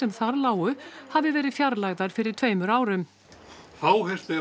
þar lágu hafi verið fjarlægðar fyrir tveimur árum fáheyrt er